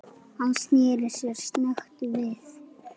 Hann sneri sér snöggt við.